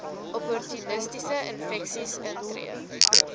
opportunistiese infeksies intree